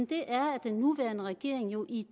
det er at den nuværende regering jo i